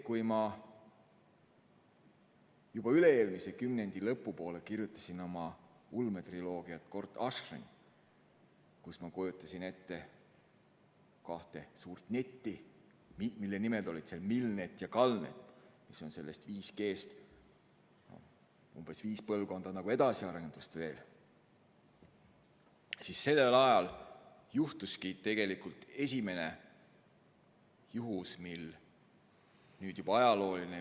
Kui ma juba üle-eelmise kümnendi lõpupoole kirjutasin oma ulmetriloogiat "Gort Ashryn", kus ma kujutasin ette kahte suurt netti, mille nimed olid MILNET ja GALNET, mis on 5G-st veel umbes viis põlvkonda edasiarendust, siis sellel ajal juhtuski tegelikult esimene juhus, mis on nüüd juba ajalooline.